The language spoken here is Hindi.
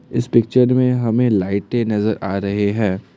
इस पिक्चर में हमें लाइटे नजर आ रहे हैं।